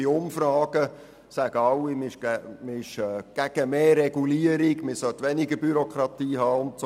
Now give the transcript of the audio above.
Bei Umfragen sagen immer alle, sie seien gegen mehr Regulierung, und sie sprechen sich für weniger Bürokratie aus.